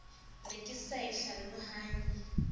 ne ke sa e hlalohanye